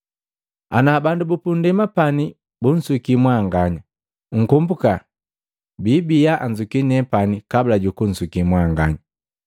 “Ana bandu bupundema pani bunsuki mwanganya, nkombuka biibiya anzuki nepani kabula jukunsuki mwanganya.